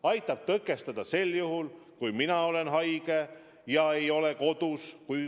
Aitab tõkestada sel juhul, kui mina olen haige ja ei ole kodus.